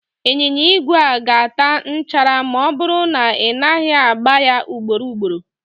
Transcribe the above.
Ịnyịnya igwe a ga-ata nchara ma ọ bụrụ na ị naghị agba ya ugboro ugboro